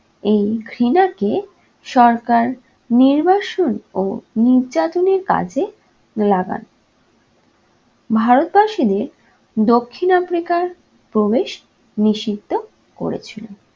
এই ঘৃণাকে সরকার নির্বাসন ও নির্যাতনের কাজে লাগান। ভারতবাসীদের দক্ষিণ africa র প্রবেশ নিষিদ্ধ করেছিল।